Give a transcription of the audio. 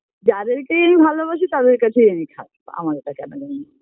যাদের কেই আমি ভালোবাসি তাদের কাছেই আমি খারাপ আমার আমার তা জানা নেই